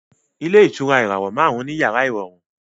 Ilé ìtura ìràwọ̀ márùn-ún ní yàrá ìrọ̀rùn